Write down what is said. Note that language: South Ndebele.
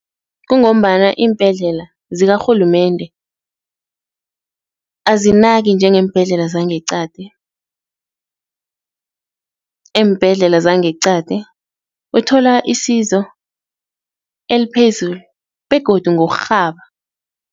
Kungombana iimbhedlela zikarhulumende azinaki njengeembhedlela zangeqadi, eembhedlela zangeqadi uthola isizo eliphezulu begodu ngokurhaba.